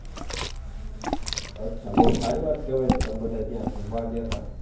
અચ્છા બહુ સારી વાત કેહેવાય તો તમે બધાય ત્યાં ઘુમવા ગ્યાતા